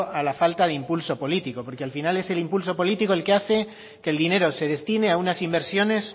a la falta de impulso político porque al final es el impulso político el que hace que el dinero se destine a unas inversiones